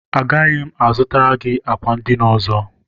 Agaghị m a zụtara gị àkwà edina ọzọ.